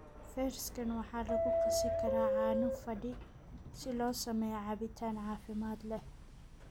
Fersken waxaa lagu qasi karaa caano fadhi si loo sameeyo cabitaan caafimaad leh.